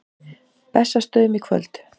Bessastöðum í kvöld!